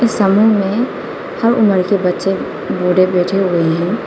समूह में हर उम्र के बच्चे बूढ़े बैठे हुए हैं।